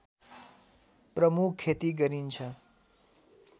प्रमुख खेती गरिन्छ